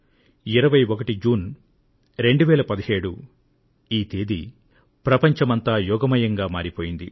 2017 June 21 వ తేదీ ప్రపంచమంతా యోగమయంగా మారిపోయింది